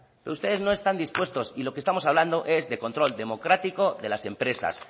pero ustedes no están dispuestos y lo que estamos hablando es de control democrático de las empresas